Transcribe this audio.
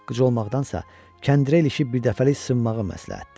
Qıc olmaqdansa kəndiri elə işi birdəfəlik sındırmağı məsləhətdir.